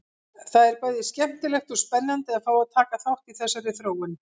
Það er bæði skemmtilegt og spennandi að fá að taka þátt í þessari þróun!